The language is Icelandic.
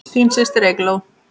Þín systir, Eygló.